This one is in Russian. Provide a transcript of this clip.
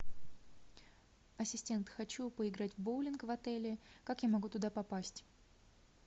ассистент хочу поиграть в боулинг в отеле как я могу туда попасть